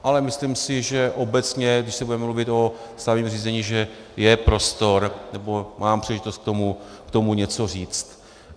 Ale myslím si, že obecně, když se bude mluvit o stavebním řízení, že je prostor nebo mám příležitost k tomu něco říct.